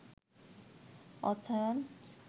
অর্থায়ন